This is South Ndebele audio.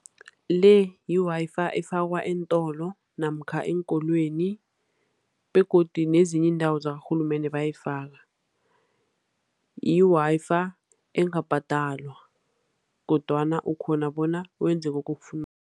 Le, yi-Wi-Fi efakwa eentolo namkha eenkolweni, begodu nezinye iindawo zakarhulumende bayayifaka. Yi-Wi-Fi engabhadalwa, kodwana ukghona bona wenze lokhu okufunako.